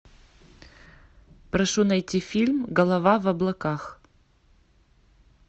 прошу найти фильм голова в облаках